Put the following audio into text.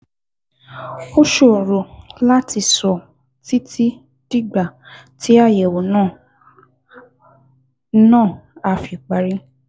Ó ṣòro láti sọ títí dìgbà tí àyẹ̀wò náà á náà á fi parí